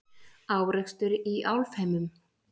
Árekstur í Álfheimum